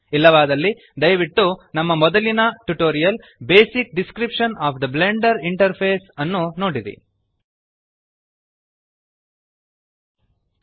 ಇಲ್ಲವಾದಲ್ಲಿ ದಯವಿಟ್ಟು ನಮ್ಮ ಮೊದಲಿನ tutorial basic description of the Blender interface basic description of the Blender interface ಅನ್ನು ನೋಡಿರಿ